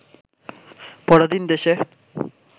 পরাধীন দেশে